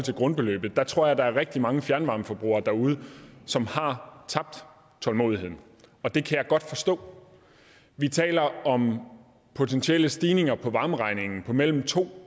til grundbeløbet at jeg tror at der er rigtig mange fjernvarmeforbrugere derude som har tabt tålmodigheden og det kan jeg godt forstå vi taler om potentielle stigninger på varmeregningen på mellem to